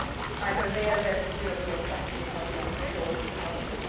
I am aware that this European strategy is not going to solve the problem